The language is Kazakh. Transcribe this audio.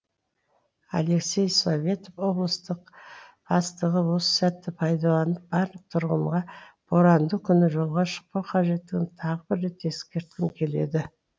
алексей советов облыстық бастығы осы сәтті пайдаланып барлық тұрғынға боранды күні жолға шықпау қажеттігін тағы бір рет ескерткім келеді